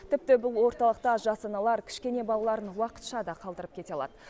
тіпті бұл орталықта жас аналар кішкене балаларын уақытша да қалдырып кете алады